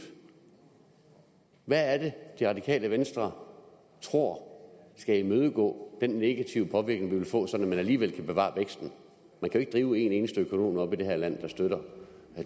hvad er det det radikale venstre tror skal imødegå den negative påvirkning vi vil få sådan at man alligevel kan bevare væksten man kan jo en eneste økonom i det her land der støtter